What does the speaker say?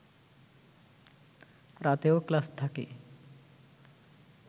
রাতেও ক্লাস থাকে